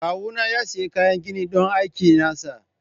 Kawuna ya sayi kayan gini don aikin nasa.